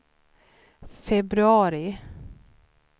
februari